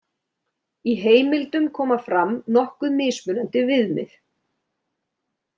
Í heimildum koma fram nokkuð mismunandi viðmið.